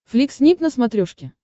флик снип на смотрешке